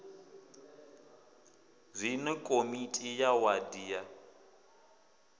zwine komiti ya wadi ya